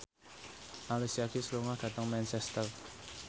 Alicia Keys lunga dhateng Manchester